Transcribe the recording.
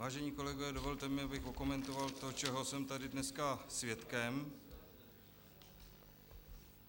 Vážení kolegové, dovolte mi, abych okomentoval to, čeho jsem tady dneska svědkem.